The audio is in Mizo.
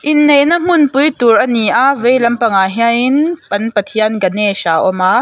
inneihna hmun pui tur ani a vei lampang ah hianin an pathian ganesh a awm a.